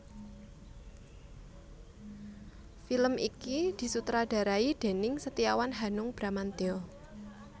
Film iki disutradharai déning Setiawan Hanung Bramantyo